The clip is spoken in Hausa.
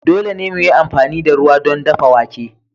Dole ne mu yi amfani da ruwa don dafa wake.